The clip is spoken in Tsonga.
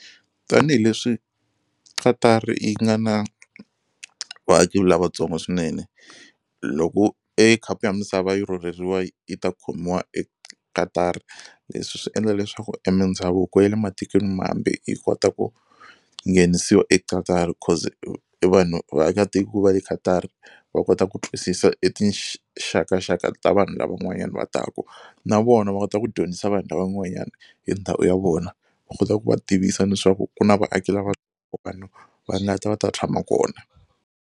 Tanihileswi Qatar yi nga na vaaki lavatsongo swinene loko e khapu ya misava yi rhurheriwe yi ta khomiwa eQatar leswi swi endla leswaku e mindhavuko ya le matikweni mambe yi kota ku yi nghenisiwa eQatar cause vanhu vaakatiko va le Qatar va kota ku twisisa e tinxakaxaka ta vanhu lava van'wanyana va taku na vona va kota ku dyondzisa vanhu van'wanyana hi ndhawu ya vona va kota ku va tivisa leswaku ku na vaaki lava vanhu va nga ta va ta tshama kona.